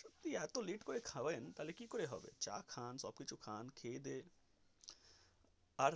সত্যি এত late করে খাবেন তাহলে কি করে হবে চা খান সব কিছু খান খেয়েদেয়ে আর.